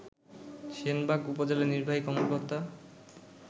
সেনবাগ উপজেলা নির্বাহী কর্মকর্তা